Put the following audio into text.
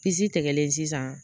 Pisi tigɛlen sisan